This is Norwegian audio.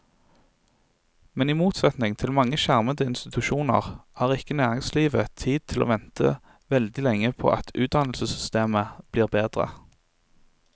Men i motsetning til mange skjermede institusjoner har ikke næringslivet tid til å vente veldig lenge på at utdannelsessystemet blir bedre.